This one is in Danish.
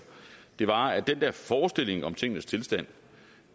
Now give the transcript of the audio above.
var at den der forestilling om tingenes tilstand